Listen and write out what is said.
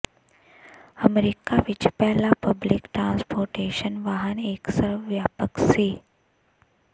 America ਵਿਚ ਪਹਿਲਾ public transportation ਵਾਹਨ ਇਕ ਸਰਬਵਿਆਪਕ ਸੀ